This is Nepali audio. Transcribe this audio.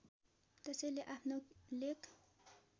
त्यसैले आफ्नो लेख